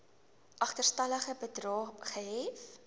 agterstallige bedrae gehef